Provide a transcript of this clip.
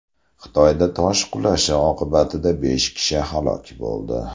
Xitoyda tosh qulashi oqibatida besh kishi halok bo‘ldi.